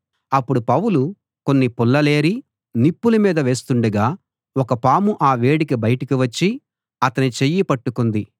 అప్పుడు పౌలు కొన్ని పుల్లలేరి నిప్పుల మీద వేస్తుండగా ఒక పాము ఆ వేడికి బయటికి వచ్చి అతని చెయ్యి పట్టుకుంది